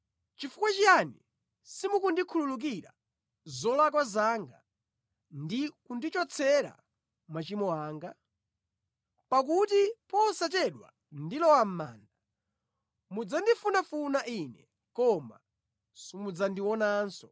Chifukwa chiyani simukundikhululukira zolakwa zanga ndi kundichotsera machimo anga? Pakuti posachedwa ndilowa mʼmanda; mudzandifunafuna ine koma simudzandionanso.”